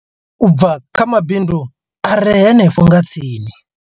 u bva kha mabindu a re henefho nga tsini.